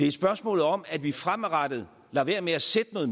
et spørgsmål om at vi fremadrettet lader være med at sætte noget